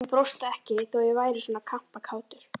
Hún brosti ekki þó að ég væri svona kampakátur.